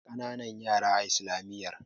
ba kananan yara a islamiyyar